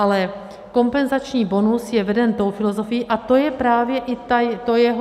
Ale kompenzační bonus je veden tou filozofií, a to je právě i to jeho...